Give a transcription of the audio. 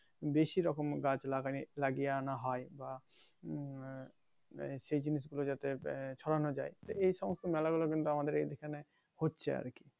বেশি রকম গাছ লাগানি লাগিয়ে আনা হয় বা উম আহ সে জিনিস গুলো যাতে ছড়ানো যায় তো এই সমস্ত মেলা গুলো কিন্তু আমাদের এইযে এইখানে হচ্ছে আরকি